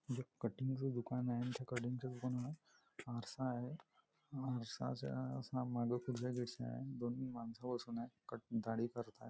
एक कटिंग च दुकान आहे आणि त्या कटिंग च्या दुकानात आरसा आहे आरस्याच्या दोन माणसे बसून आहेत दाढी करत आहेत.